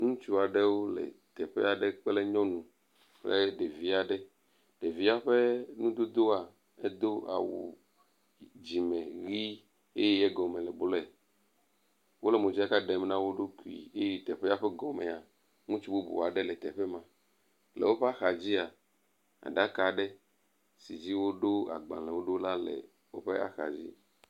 Ŋutsu aɖewo le teƒe aɖe kple nyɔnu kple ɖevi aɖe. Ɖevia ƒe nudodowoa edo awu dzime ʋi eye egɔm le blɔe. Wo le modzaka ɖem na wo ɖokui eye teƒea ƒe gɔmea ŋutsu bubu aɖe le teƒe ma. Le woƒe axa dzia aɖaka aɖe si dzi woɖo agbalewo ɖo la le woƒe axadzi.